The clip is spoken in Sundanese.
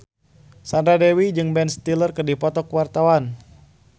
Sandra Dewi jeung Ben Stiller keur dipoto ku wartawan